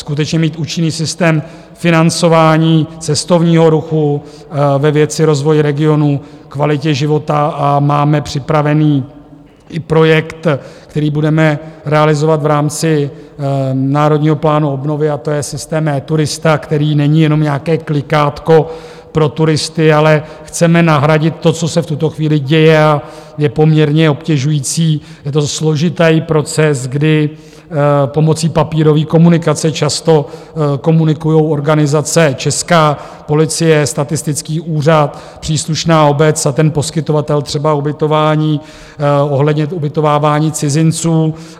Skutečně mít účinný systém financování cestovního ruchu ve věci rozvoj regionů, kvalitě života a máme připravený i projekt, který budeme realizovat v rámci Národního plánu obnovy, a to je systém eTurista, který není jenom nějaké klikátko pro turisty, ale chceme nahradit to, co se v tuto chvíli děje a je poměrně obtěžující, je to složitý proces, kdy pomocí papírové komunikace často komunikují organizace, česká policie, statistický úřad, příslušná obec a ten poskytovatel třeba ubytování ohledně ubytovávání cizinců.